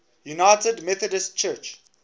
united methodist church